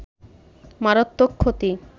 মারাত্মক ক্ষতি